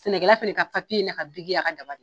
Sɛnɛkɛlala fɛnɛ ka n'a ka y'a ka daba de ye.